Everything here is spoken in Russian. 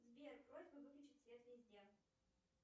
сбер просьба выключить свет везде